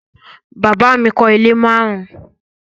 Bàbá mi kọ́ ilé márùn-ún